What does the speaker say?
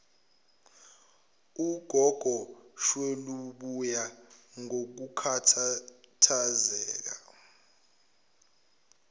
ngugogo sweluboya ngokukhathazeka